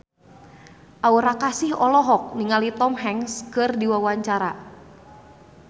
Aura Kasih olohok ningali Tom Hanks keur diwawancara